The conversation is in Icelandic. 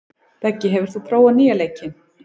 Beggi, hefur þú prófað nýja leikinn?